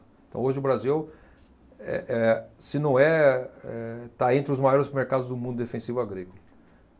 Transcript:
Então hoje o Brasil, é, é, se não é, eh, está entre os maiores mercados do mundo de defensivo agrícola.